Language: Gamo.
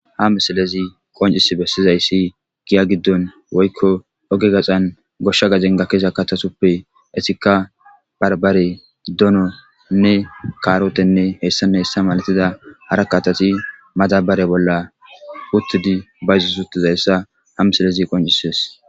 ha misalezi qoncisi bessizayssi giya giddon woykko oge gaxan goshsha gajengakesa katasuppe esika barbarey dono nne kaarotenne hessane hessa malatida hara katasi madabare bolla uttudi bayzu suttizayssa ha misilezi qoncisees